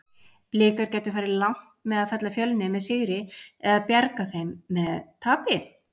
Blikar gætu farið langt með að fella Fjölni með sigri eða bjarga þeim með tapi?